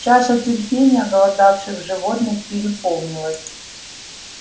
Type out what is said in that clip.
чаша терпения оголодавших животных переполнилась